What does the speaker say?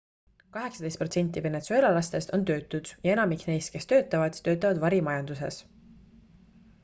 kaheksateist protsenti venezuelalastest on töötud ja enamik neist kes töötavad töötavad varimajanduses